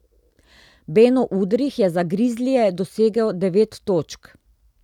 Beno Udrih je za Grizlije dosegel devet točk.